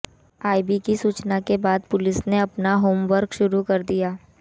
IB की सूचना के बाद पुलिस ने अपना होमवर्क शुरू कर दिया है